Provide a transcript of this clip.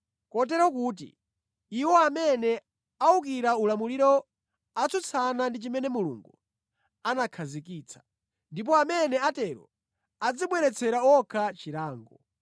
Kotero kuti, iwo amene awukira ulamuliro atsutsana ndi chimene Mulungu anakhazikitsa. Ndipo amene atero adzibweretsera okha chilango.